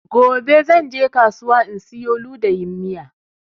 Gobe zan je kasuwa in siyo ludayin miya